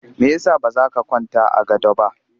Me ya sa ba za ka kwanta a gado ba?